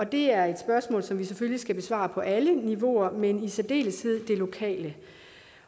det er et spørgsmål som vi selvfølgelig skal besvare på alle niveauer men i særdeleshed det lokale